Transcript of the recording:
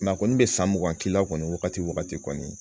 a kɔni bɛ san mugan k'i la kɔni wagati kɔni